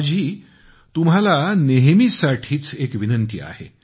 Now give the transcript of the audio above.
माझी तुम्हाला नेहमीसाठीच एक विनंती आहे